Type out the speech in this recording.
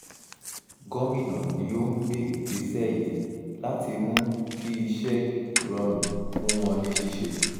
gomina ni òún gbé ìgbésẹ̀ yìí láti mú kí iṣẹ́ rọrùn fún wọn ní ṣíṣe